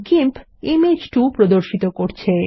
GIMP image 2 প্রর্দশিত করছে